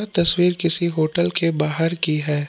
तस्वीर किसी होटल के बाहर की है।